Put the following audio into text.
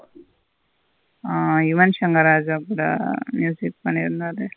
ஆ யுவன் சங்கர் ராஜா கூட music பண்ணிருந்தாரு.